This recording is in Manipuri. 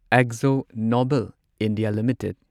Akzo Nobel India limited